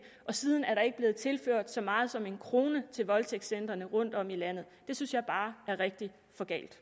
siden er der ikke bliver tilført så meget som en krone til voldtægtscentrene rundtom i landet det synes jeg bare er rigtig for galt